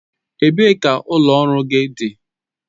Ebee ka ụlọ ọrụ gị dị?